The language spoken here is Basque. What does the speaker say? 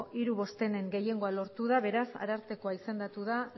hiru bostenen gehiengoa lortua da beraz arartekoa izendatu da